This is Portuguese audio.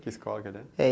Que escola que ele é? Eh